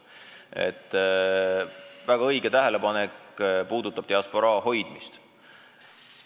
Aga see oli väga õige tähelepanek, mis puudutas diasporaa hoidmist.